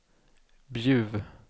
Bjuv